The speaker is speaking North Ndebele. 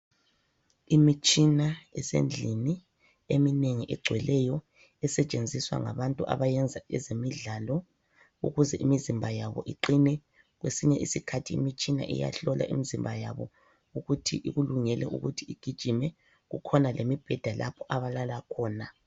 Imitshina esendlini , eminengi egcweleyo. Esetshenziswa ngabantu abayenza ezemidlalo ,ukuze imizimba yabo iqine . Kwesinye isikhathi imitshina iyahlola imizimba yabo ,ukuthi ikulungele ukuthi ugijime .Kukhona lemibheda la abalala khona.